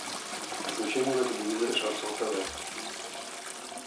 включи мне на телевизоре шансон тв